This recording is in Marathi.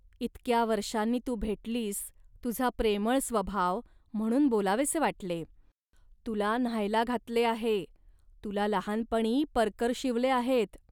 इतक्या वर्षांनी तू भेटलीस, तुझा प्रेमळ स्वभाव, म्हणून बोलावेसे वाटले. तुला न्हायला घातले आहे, तुला लहानपणी परकर शिवले आहेत